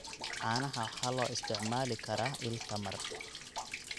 Caanaha waxa loo isticmaali karaa il tamar.